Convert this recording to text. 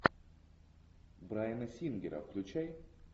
брайана сингера включай